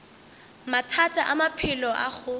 mathata a maphelo a go